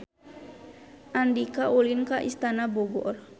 Andika ulin ka Istana Bogor